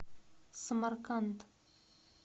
самарканд